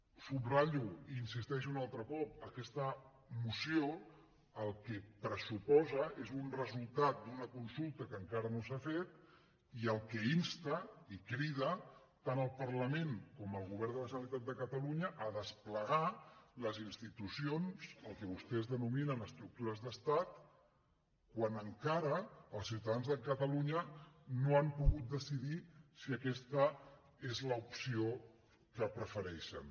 ho subratllo i hi insisteixo un altre cop aquesta moció el que pressuposa és un resultat d’una consulta que encara no s’ha fet i al que insta i crida tant el parlament com el govern de la generalitat de catalunya es a desplegar les institucions el que vostès denominen estructures d’estat quan encara els ciutadans de catalunya no han pogut decidir si aquesta és l’opció que prefereixen